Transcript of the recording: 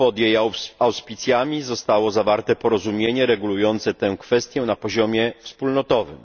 pod jej auspicjami zostało zawarte porozumienie regulujące tę kwestię na poziomie wspólnotowym.